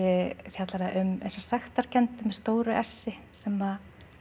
fjallar það um sektarkennd með stóru s i sem